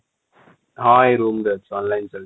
ହଁ ଏ roomରେ ଅଛି online ଚାଲିଛି